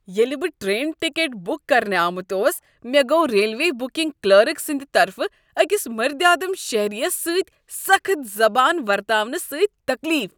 ییٚلہ بہٕ train ticket book کرنہٕ آمت اوس، مےٚ گوٚو ریلوے بکنگ کلرک سٕنٛد طرفہٕ أکس مٔردِ آدٕم شہریس سۭتۍ سخٕت زبان ورتاونہٕ سۭتۍ تکلیف۔